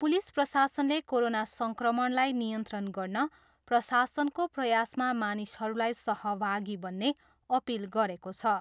Police प्रशासनले corona सङ्क्रमणलाई नियन्त्रण गर्न प्रशासनको प्रयासमा मानिसहरूलाई सहभागी बन्ने अपिल गरेको छ।